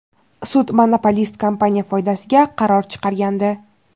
Sud monopolist kompaniya foydasiga qaror chiqargandi.